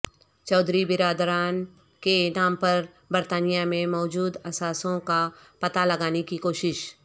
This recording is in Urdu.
چودھری برادران کے نام پر برطانیہ میں موجو د اثاثوں کا پتہ لگانے کی کوشش